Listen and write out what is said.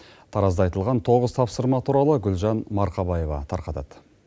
таразда айтылған тоғыз тапсырма туралы гүлжан марқабаева тарқатады